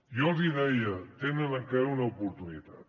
jo els hi deia tenen encara una oportunitat